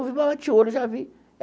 Bati o olho e já vi.